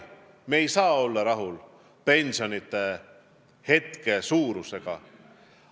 Me ei saa pensionite praeguse suurusega rahul olla.